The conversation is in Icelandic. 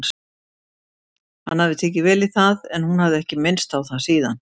Hann hafði tekið vel í það en hún hafði ekki minnst á það síðan.